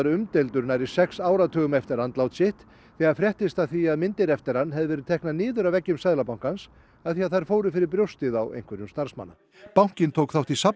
umdeildur nærri sex áratugum eftir andlát sitt þegar fréttist af því að myndir eftir hann hefðu verið teknar niður af veggjum Seðlabankans af því að þær fóru fyrir brjóstið á einhverjum starfsmanna bankinn tók þátt í